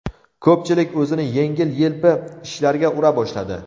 Ko‘pchilik o‘zini yengil-yelpi ishlarga ura boshladi.